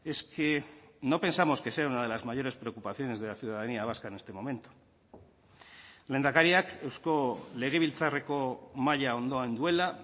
es que no pensamos que sea una de las mayores preocupaciones de la ciudadanía vasca en este momento lehendakariak eusko legebiltzarreko mahaia ondoan duela